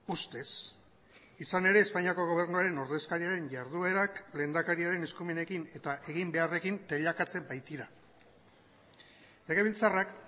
ustez izan ere espainiako gobernuaren ordezkariaren jarduerak lehendakariaren eskumenekin eta eginbeharrekin teilakatzen baitira legebiltzarrak